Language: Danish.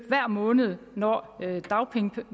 hver måned når